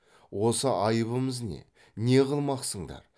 осы айыбымыз не не қылмақсыңдар